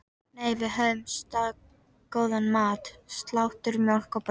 Nei, við höfðum staðgóðan mat: Slátur, mjólk og brauð.